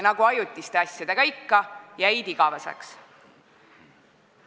Nagu ajutiste asjadega ikka, jäid need igaveseks.